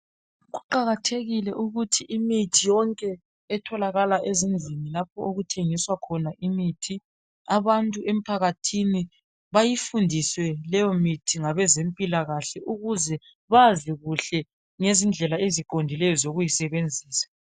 Kuqakathekile ukuthi imithi yonke etholakala ezindlini lapho okuthengiswa khona imithi abantu emphakathini bayifundiswe leyo mithi ngabezempilakahle ukuze bazi kuhle ngezindlela eziqondileyo zokuyisebenzisa.